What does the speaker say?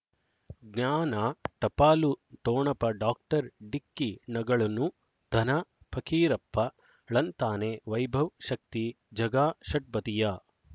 ಜ್ಞಾನ ಟಪಾಲು ಠೊಣಪ ಡಾಕ್ಟರ್ ಢಿಕ್ಕಿ ಣಗಳನು ಧನ ಪಕೀರಪ್ಪ ಳಂತಾನೆ ವೈಭವ್ ಶಕ್ತಿ ಝಗಾ ಷಟ್ಪದಿಯ